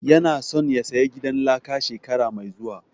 Ya na so ya saya gidan laka shekara mai zuwa